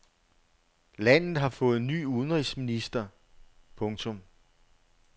Landet har fået ny udenrigsminister. punktum